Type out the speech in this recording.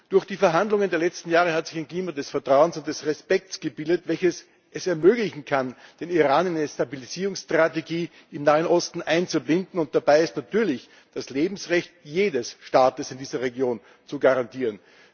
Durch die Verhandlungen der letzten Jahre hat sich ein Klima des Vertrauens und des Respekts gebildet, welches es ermöglichen kann, den Iran in eine Stabilisierungsstrategie im Nahen Osten einzubinden, und dabei ist natürlich das Lebensrecht jedes Staates in dieser Region zu garantieren.